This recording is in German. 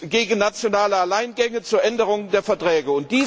gegen nationale Alleingänge, zur Änderung der Verträge.